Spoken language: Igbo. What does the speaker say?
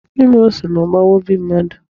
Ịma ọsụ na-agbawa obi mmadụ.